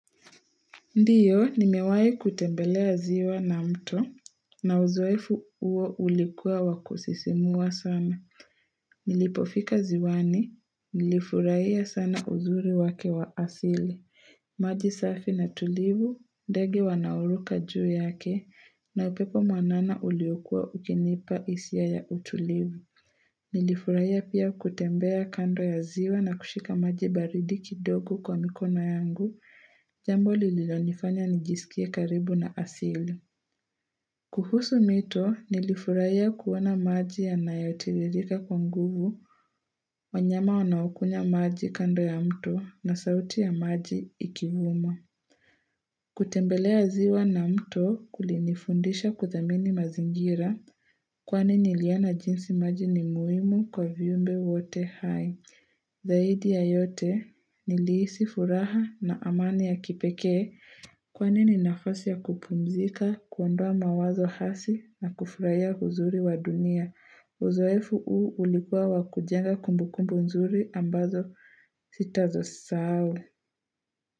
Ndio, nimewahi kutembelea ziwa na mto, na uzoefu huo ulikuwa wakusisimua sana. Nilipofika ziwani, nilifurahia sana uzuri wake wa asili. Maji safi na tulivu, ndege wanauruka juu yake, na upepo mwanana uliokuwa ukinipa hisia ya utulivu. Nilifurahia pia kutembea kando ya ziwa na kushika maji baridi kidogo kwa mikono yangu. Jambo lililonifanya nijisikie karibu na asili. Kuhusu mito nilifurahia kuona maji yanayotiririka kwa nguvu wanyama wanaokunya maji kando ya mto na sauti ya maji ikivuma. Kutembelea ziwa na mto kulinifundisha kuthamini mazingira kwani niliona jinsi maji ni muhimu kwa viumbe wote hai. Zaidi ya yote nilihisi furaha na amani ya kipekee Kwani ni nafasi ya kupumzika, kuondoa mawazo hasi na kufurahia uzuri wa dunia. Uzoefu huu ulikuwa wakujenga kumbukumbu nzuri ambazo sitazo sahau.